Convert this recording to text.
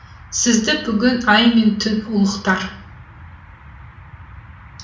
сізді бүгін ай мен түн ұлықтар